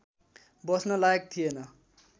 बस्न लायक थिएन